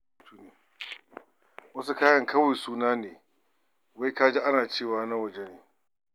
Wasu kayan kawai suna ne wai ka ji ana cewa na waje ne.